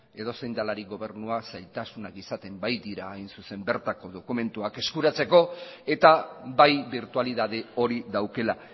edozein delarik gobernua zailtasunak izaten baitira bertako dokumentuak eskuratzeko eta bai birtualitate hori daukala